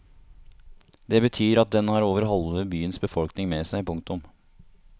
Det betyr at den har over halve byens befolkning med seg. punktum